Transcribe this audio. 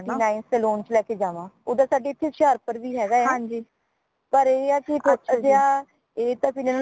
ninth nine saloon ਚ ਲੈ ਕੇ ਜਾਵਾਂ ਓਦਰ ਤਾ ਸਾੜੇ ਹੋਸ਼ਿਆਰਪੁਰ ਵੀ ਹੈਗਾ ਪਰ ਇਹ ਹੈ ਕੀ ਛੋਟਾ ਜੇਹਾ ਇਹ ਤੇ ਫੇਰ